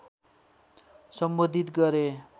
सम्बोधित गरे